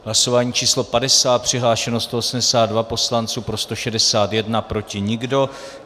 Hlasování číslo 50, přihlášeno 182 poslanců, pro 161, proti nikdo.